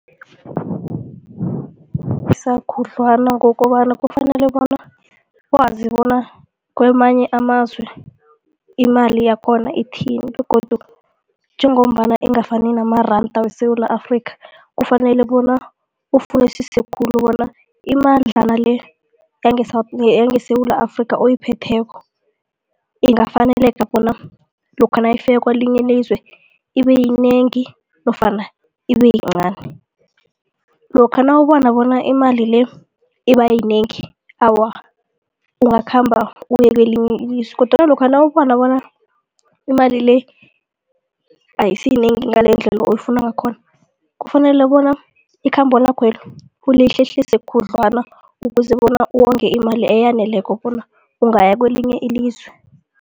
khudlwana ngokobana kufanele bona wazi bona kwamanye amazwe imali yakhona ithini begodu njengombana ingafani namaranda weSewula Afrika. Kufanele bona ufunisise khulu bona imadlana le yange yangeSewula Afrika oyiphetheko ingafaneleka bona lokha nayifika kwelinye ilizwe, ibeyinengi nofana ibeyincani. Lokha nawubona bona imali le ibayinengi awa, ungakhamba uye kwelinye ilizwe kodwana lokha nawubona bona imali le ayisiyinengi ngalendlela oyifuna ngakhona kufanele bona ikhambo lakhwelo ulihlehlise khudlwana ukuze bona uwonge imali eyaneleko bona ungaya kwelinye ilizwe.